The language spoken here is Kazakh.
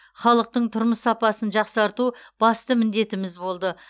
халықтың тұрмыс сапасын жақсарту басты міндетіміз болды